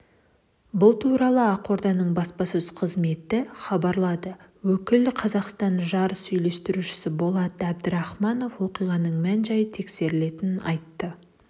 бұл туралы ақорданың баспасөз қызметі хабарлады өкілі қазақстан жарыс үйлестірушісі болат әбдірахманов оқиғаның мән-жайы тексерілетінін айтты